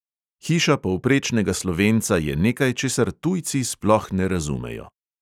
Hiša povprečnega slovenca je nekaj, česar tujci sploh ne razumejo.